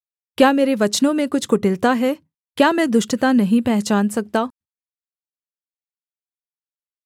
क्या मेरे वचनों में कुछ कुटिलता है क्या मैं दुष्टता नहीं पहचान सकता